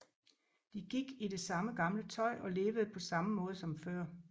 De gik i det samme gamle tøj og levede på samme måde som før